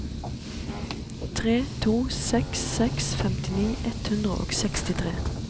tre to seks seks femtini ett hundre og sekstitre